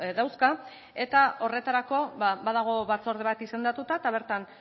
dauzka eta horretarako badago batzorde bat izendatuta eta bertan